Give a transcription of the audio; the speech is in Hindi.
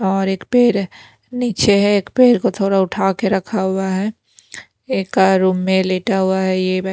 और एक पैर नीचे है एक पैर को थोड़ा उठा के रखा हुआ है एक का रूम में लेटा हुआ है ये --